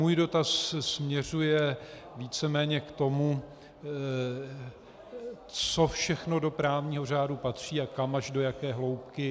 Můj dotaz směřuje víceméně k tomu, co všechno do právního řádu patří a kam až, do jaké hloubky -